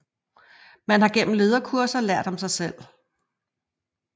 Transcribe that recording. Man har gennem lederkurser lært om sig selv